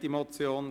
müssten.